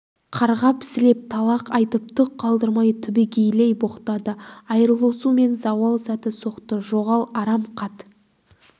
қарғап сілеп талақ айтып түк қалдырмай түбегейлей боқтады айырылысу мен зауал сәті соқты жоғал арам қат